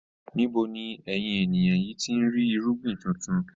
Níbo ni ẹ̀yin ènìyàn yìí tí ń rí irúgbìn tuntun?